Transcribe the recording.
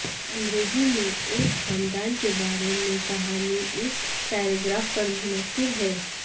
انگریزی میں ایک خاندان کے بارے میں کہانی اس پیراگراف پر منحصر ہے